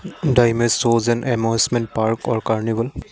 the image shows an emotional park or carnival.